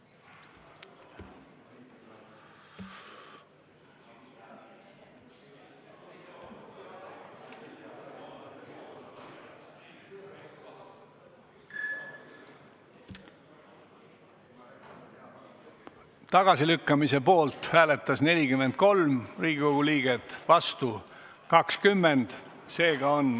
Hääletustulemused Tagasilükkamise poolt hääletas 43 Riigikogu liiget, vastu 20.